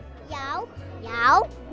já já